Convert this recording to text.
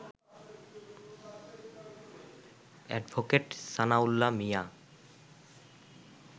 advocate Sanaullah Mia